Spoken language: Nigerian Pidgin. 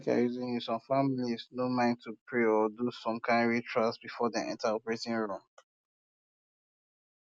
make i reason you some families no um mind to pray or do some kind ritual um before dem enter operating room